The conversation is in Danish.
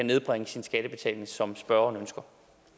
nedbringe sin skattebetaling som spørgeren ønsker